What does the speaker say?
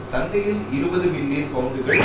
சந்தையில் இருபது மில்லியன் பவுண்டுகள்